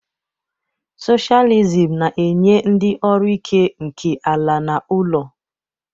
Socialism na-enye ndị ọrụ òkè nke ala na ụlọ.